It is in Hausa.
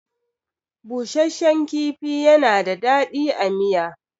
Bushashshan kifi yana da daɗi a miya.